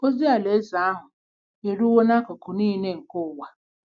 Ozi Alaeze ahụ eruwo n’akụkụ nile nke ụwa.